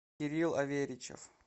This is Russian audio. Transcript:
кирилл аверичев